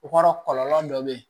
O kɔrɔ kɔlɔlɔ dɔ bɛ ye